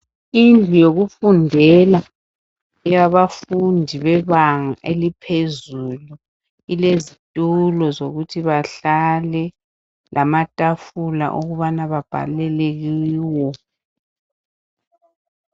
Indlu yokufundela eyabafundi bebanga eliphezulu. Ilezitulo zokuthi bahlale, lamatafula okubana babhalele kiwo.